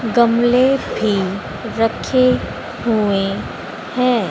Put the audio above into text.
गमले भी रखे हुए हैं।